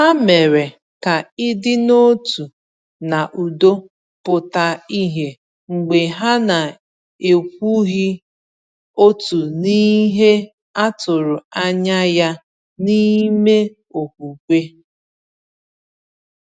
Ha mere ka ịdị n’otu na udo pụta ìhè mgbe ha na-ekwughị otu n’ihe a tụrụ anya ya n’ime okwukwe.